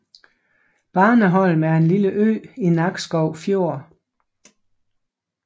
Barneholm er en lille ø i Nakskov Fjord